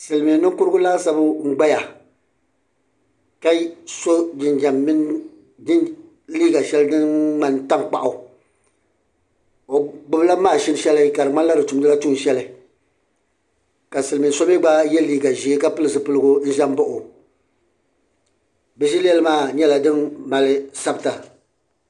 Silimiin'ninkurigu laasabu ŋ-gbaya ka so jinjam mini liiga shɛli din ŋmani tankpaɣu o gbubila maʒini shɛli ka di ŋmanila di tumdila tuunshɛli ka Silimiin so gba ye liiga ʒee bɛ zilɛli maa mi nyɛla din mali sabita.